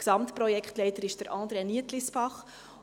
Gesamtprojektleiter ist André Nietlisbach.